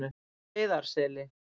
Heiðarseli